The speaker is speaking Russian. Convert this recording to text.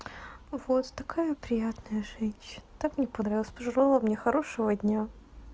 у вас такая приятная женщина так мне понравилась пожелала мне хорошего дня